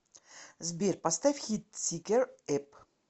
сбер поставь хит сикер эп